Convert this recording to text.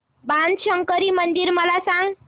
बाणशंकरी मंदिर मला सांग